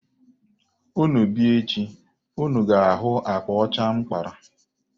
Unu bịa echi, unu ga-ahụ akpa ọcha m kpara.